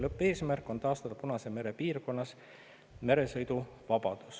Lõppeesmärk on taastada Punase mere piirkonnas meresõiduvabadus.